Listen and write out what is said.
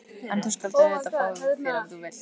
En þú skalt auðvitað fá þér ef þú vilt.